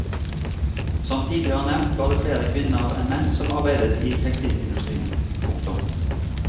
Som tidligere nevnt var det flere kvinner enn menn som arbeidet i tekstilindustrien. punktum